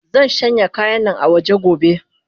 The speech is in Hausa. Zanshanya kayannan awaje gobe.